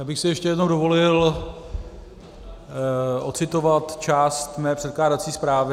Já bych si ještě jednou dovolil ocitovat část mé předkládací zprávy.